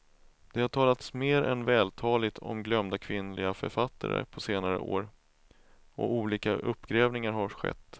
Det har talats mer än vältaligt om glömda kvinnliga författare på senare år, och olika uppgrävningar har skett.